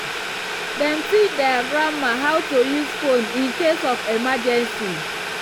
dem teach their grandma how to use phone in case of emergency.